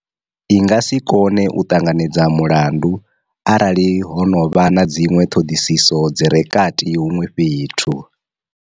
I nga si kone u ṱanganedza mulandu arali ho no vha na dziṅwe ṱhoḓisiso dzi re kati huṅwe fhethu.